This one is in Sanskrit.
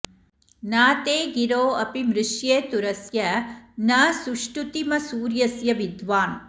न ते गिरो अपि मृष्ये तुरस्य न सुष्टुतिमसुर्यस्य विद्वान्